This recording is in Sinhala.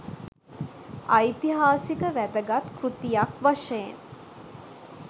ඓතිහාසික වැදගත් කෘතියක් වශයෙන්